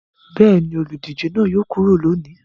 Bẹ́ẹ̀ ni, olùdíje náà yóò kúrò lónìí.